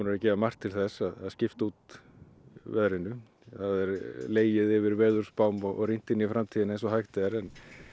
að gera margt til að skipt út veðrinu það er legið yfir veðurspám og rýnt inn í framtíðina eins og hægt er en